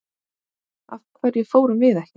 Af hverju fórum við ekki?